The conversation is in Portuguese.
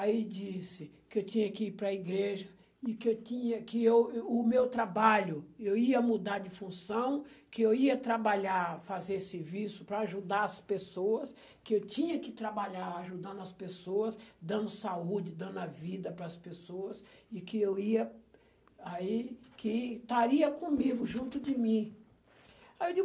Aí ele disse que eu tinha que ir para a igreja e que eu tinha, que eu, o meu trabalho, eu ia mudar de função, que eu ia trabalhar, fazer serviço para ajudar as pessoas, que eu tinha que trabalhar ajudando as pessoas, dando saúde, dando a vida para as pessoas e que eu ia... que estaria comigo, junto de mim. Aí eu digo,